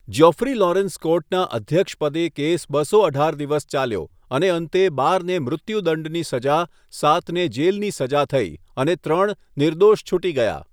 Geoffrey Lawrence કોર્ટના અધ્યક્ષ પદે કેસ બસો અઢાર દિવસ ચાલ્યો અને અંતે બારને મૃત્યુદંડની સજા, સાતને જેલની સજા થઇ અને ત્રણ નિર્દોષ છૂટી ગયા.